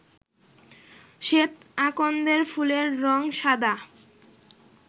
শ্বেত আকন্দের ফুলের রং সাদা